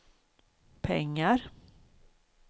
pengar